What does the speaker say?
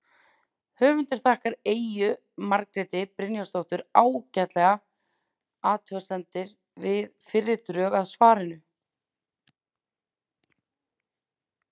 höfundur þakkar eyju margréti brynjarsdóttur ágætar athugasemdir við fyrri drög að svarinu